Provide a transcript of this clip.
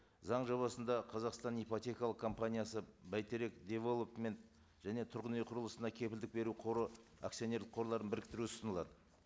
заң жобасында қазақстан ипотекалық компаниясы бәйтерек девелопмент және тұрғын үй құрылысына кепілдік беру қоры акционерлік қорларын біріктіру ұсынылады